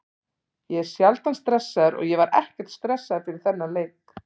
Ég er sjaldan stressaður og ég var ekkert stressaður fyrir þennan leik.